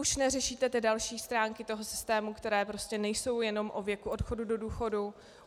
Už neřešíte ty další stránky toho systému, které prostě nejsou jenom o věku odchodu do důchodu.